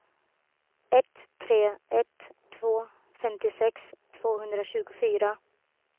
ett tre ett två femtiosex tvåhundratjugofyra